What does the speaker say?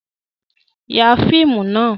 Ya fíìmù nà!